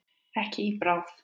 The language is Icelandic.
Ekki í bráð.